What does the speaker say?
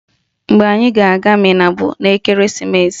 Mgbe anyị ga-aga Minna bụ n'ekeresimeesi